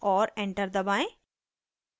और एंटर दबाएं